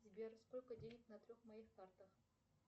сбер сколько денег на трех моих картах